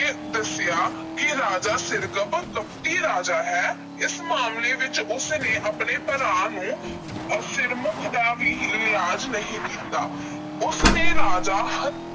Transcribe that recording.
ਦੱਸਿਆ ਕਿ ਰਾਜਾ ਸਿਰਕੱਪ ਕਪਟੀ ਰਾਜਾ ਹੈ। ਇਸ ਮਾਮਲੇ ਵਿਚ ਉਸ ਨੇ ਆਪਣੇ ਭਰਾ ਨੂੰ ਸਿਰਮੁੱਖ ਦਾ ਵੀ ਲਿਹਾਜ ਨਹੀਂ ਕੀਤਾ। ਉਸ ਨੇ ਰਾਜਾ